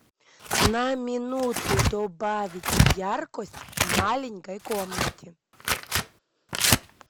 на минуту добавить яркость в маленькой комнате